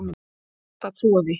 Rétt að trúa því.